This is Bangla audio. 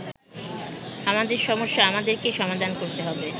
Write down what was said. আমাদের সমস্যা আমাদেরকেই সমাধান করতে হবে।